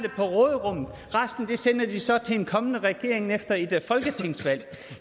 resten sender de så til en kommende regering efter et folketingsvalg